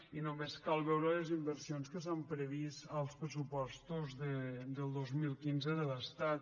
i només cal veure les inversions que s’han previst en els pressupostos del dos mil quinze de l’estat